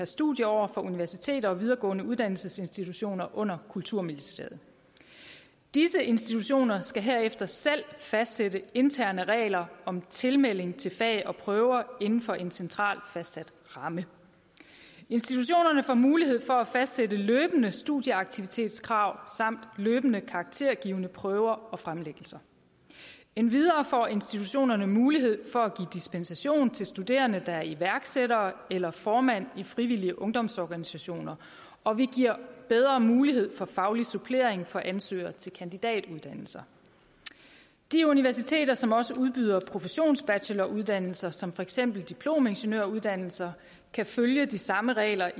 studieår for universiteter og videregående uddannelsesinstitutioner under kulturministeriet disse institutioner skal herefter selv fastsætte interne regler om tilmelding til fag og prøver inden for en centralt fastsat ramme institutionerne får mulighed for at fastsætte løbende studieaktivitetskrav samt løbende karaktergivende prøver og fremlæggelser endvidere får institutionerne mulighed for at give dispensation til studerende der er iværksættere eller formand i frivillige ungdomsorganisationer og vi giver bedre mulighed for faglig supplering for ansøgere til kandidatuddannelser de universiteter som også udbyder professionsbacheloruddannelser som for eksempel diplomingeniøruddannelser kan følge de samme regler